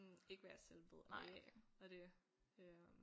Ikke hvad jeg selv ved af af det øh